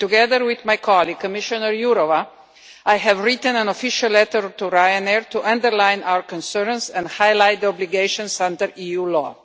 Together with my colleague, Commissioner Jourová, I have written an official letter to Ryanair to underline our concerns and highlight the obligations under EU law.